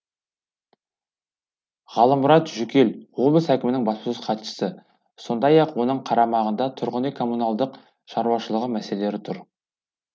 ғалымұрат жүкел облыс әкімінің баспасөз хатшысы сондай ақ оның қарамағында тұрғын үй коммуналдық шаруашылығы мәселелері тұр